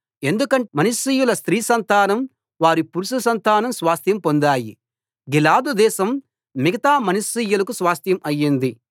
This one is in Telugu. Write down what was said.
ఎందుకంటే మనష్షీయుల స్త్రీ సంతానం వారి పురుష సంతానం స్వాస్థ్యం పొందాయి గిలాదు దేశం మిగతా మనష్షీయులకు స్వాస్థ్యం అయింది